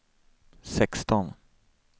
sexton